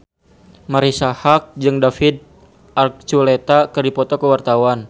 Marisa Haque jeung David Archuletta keur dipoto ku wartawan